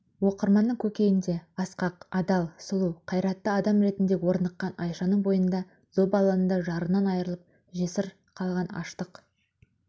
оқырманның көкейінде асқақ адал сұлу қайраттыадам ретінде орныққан айшаның бойында зобалаңында жарынан айырылып жесір қалған аштық